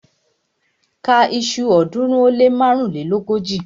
Ka iṣu ọ̀ọ́dúnrún ó lé márùnléógójì!